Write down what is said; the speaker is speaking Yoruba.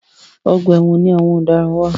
Ọgbà ẹ̀wọ̀n ni àwọn ọ̀daràn wà.